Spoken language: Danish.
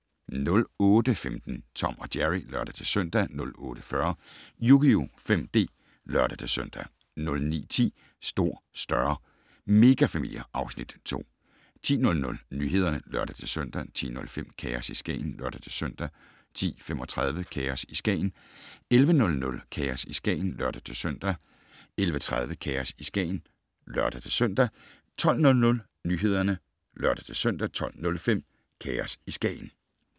08:15: Tom & Jerry (lør-søn) 08:40: Yugioh 5D (lør-søn) 09:10: Stor, større - megafamilier (Afs. 2) 10:00: Nyhederne (lør-søn) 10:05: Kaos i Skagen (lør-søn) 10:35: Kaos i Skagen 11:00: Kaos i Skagen (lør-søn) 11:30: Kaos i Skagen (lør-søn) 12:00: Nyhederne (lør-søn) 12:05: Kaos i Skagen